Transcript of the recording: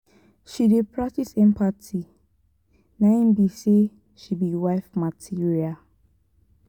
she dey practice empathy na im be sey she be wife material.